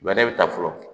Bɛɛ bɛ taa fɔlɔ